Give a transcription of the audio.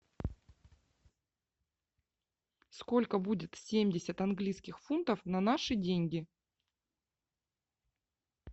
сколько будет семьдесят английских фунтов на наши деньги